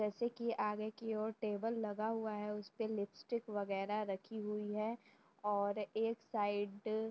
जैसे कि आगे की ओर टेबल लगा हुआ है उसपे लिपस्टिक वगैरह रखी हुई है और एक साइड --